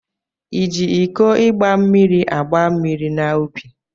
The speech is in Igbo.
Iji iko igba mmiri agba mmiri n'ubi?